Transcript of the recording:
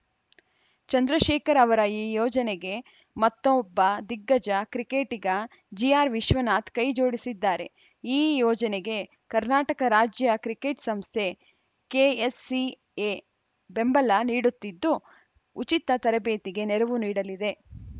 ಚಂದ್ರಶೇಖರ್‌ ಅವರ ಈ ಯೋಜನೆಗೆ ಮತ್ತೊಬ್ಬ ದಿಗ್ಗಜ ಕ್ರಿಕೆಟಿಗ ಜಿಆರ್‌ ವಿಶ್ವನಾಥ್‌ ಕೈ ಜೋಡಿಸಿದ್ದಾರೆ ಈ ಯೋಜನೆಗೆ ಕರ್ನಾಟಕ ರಾಜ್ಯ ಕ್ರಿಕೆಟ್‌ ಸಂಸ್ಥೆ ಕೆಎಸ್‌ಸಿಎ ಬೆಂಬಲ ನೀಡುತ್ತಿದ್ದು ಉಚಿತ ತರಬೇತಿಗೆ ನೆರವು ನೀಡಲಿದೆ